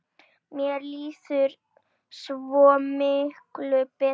Mér líður svo mikið betur.